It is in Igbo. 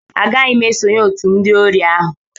Agaghị m esonyere otu ndị ori ahụ